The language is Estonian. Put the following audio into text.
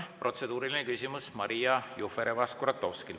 Protseduuriline küsimus, Maria Jufereva-Skuratovski.